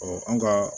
an ka